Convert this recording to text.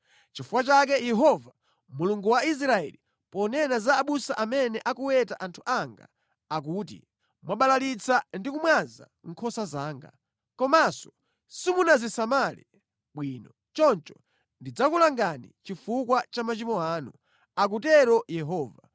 Nʼchifukwa chake Yehova, Mulungu wa Israeli, ponena za abusa amene akuweta anthu anga akuti, “Mwabalalitsa ndi kumwaza nkhosa zanga. Komanso simunazisamale bwino. Choncho ndidzakulangani chifukwa cha machimo anu,” akutero Yehova.